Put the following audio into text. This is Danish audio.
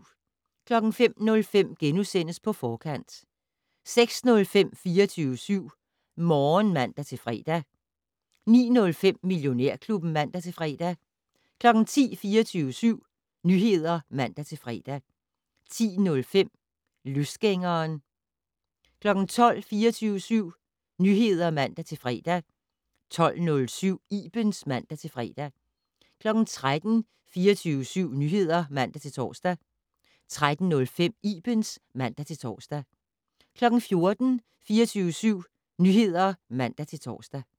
05:05: På Forkant * 06:05: 24syv Morgen (man-fre) 09:05: Millionærklubben (man-fre) 10:00: 24syv Nyheder (man-fre) 10:05: Løsgængeren 12:00: 24syv Nyheder (man-fre) 12:07: Ibens (man-fre) 13:00: 24syv Nyheder (man-tor) 13:05: Ibens (man-tor) 14:00: 24syv Nyheder (man-tor)